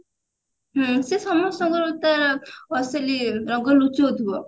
ହୁଁ ସେ ସମସ୍ତଙ୍କର ତା ଅସଲି ରଙ୍ଗ ଲୁଚଉଥିବ